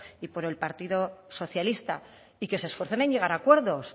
y por el partido socialista y que se esfuercen en llegar a acuerdos